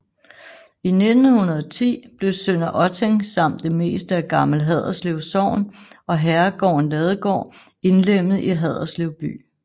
I 1910 blev Sønder Otting samt det meste af Gammel Haderslev Sogn og herregården Ladegård indlemmet i Haderslev by